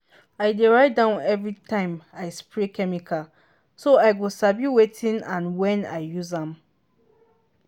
i dey write down every time i spray chemical so i go sabi wetin and when i use am.